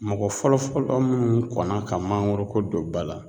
Mɔgɔ fɔlɔ-fɔlɔ munnu kɔnna ka mangoro ko don ba la